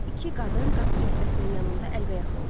İki qadın qapı cəftəsinin yanında əlbəyaxa oldu.